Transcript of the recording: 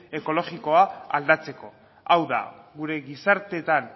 ekologikoa aldatzeko hau da gure gizarteetan